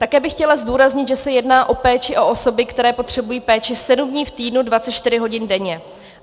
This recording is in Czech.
Také bych chtěla zdůraznit, že se jedná o péči o osoby, které potřebují péči sedm dní v týdnu 24 hodin denně.